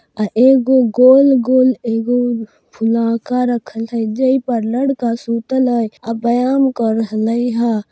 अ एगो गोल गोल एगो फुलाकर रखल हई जेइ पर लड़का सुतल हई अ व्यायाम कर रहलै ह।